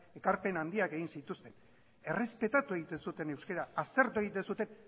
ekarpen handiak egin zituzten errespetatu egiten zuten euskara aztertu egiten zuten